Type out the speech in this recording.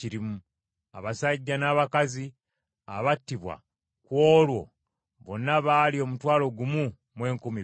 Abasajja n’abakazi abattibwa ku olwo bonna baali omutwalo gumu mu enkumi bbiri.